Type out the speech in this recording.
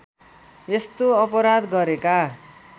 यस्तो अपराध गरेका